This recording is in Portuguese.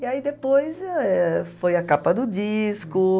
E aí depois, eh, foi a capa do disco.